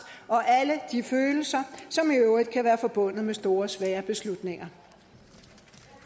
og alle de følelser som i øvrigt kan være forbundet med store svære beslutninger